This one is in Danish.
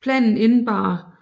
Planen indebar